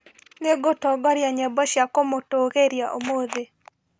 Nĩngũtongoria nyĩmbo cia kũmũtũgĩria ũmũthĩ